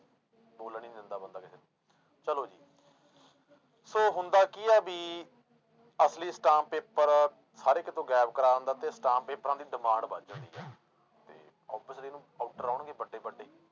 ਬੋਲਣ ਨੀ ਦਿੰਦਾ ਬੰਦਾ ਕਿਸੇ ਨੂੰ ਚਲੋ ਜੀ ਸੌ ਹੁੰਦਾ ਕੀ ਹੈ ਵੀ ਅਸਲੀ ਅਸਟਾਮ ਪੇਪਰ ਹਰ ਇੱਕ ਤੋਂ ਗਾਇਬ ਕਰਵਾ ਦਿੰਦਾ ਤੇ ਅਸਟਾਮ ਪੇਪਰਾਂ ਦੀ demand ਵੱਧ ਜਾਂਦੀ ਆ ਤੇ obviously ਇਹਨੂੰ order ਆਉਣਗੇ ਵੱਡੇ ਵੱਡੇ।